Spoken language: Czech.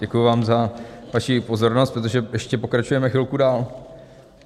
Děkuji vám za vaši pozornost, protože ještě pokračujeme chvilku dál.